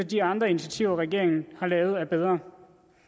de andre initiativer regeringen har taget er bedre